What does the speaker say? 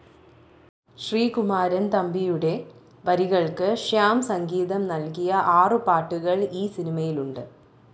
ശ്രീകുമാരൻ തമ്പിയുടെ വരികൾക്ക് ശ്യാം സംഗീതം നൽകിയ ആറു പാട്ടുകൾ ഈ സിനിമയിലുണ്ട്.